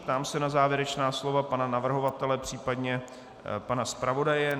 Ptám se na závěrečná slova pana navrhovatele, případně pana zpravodaje.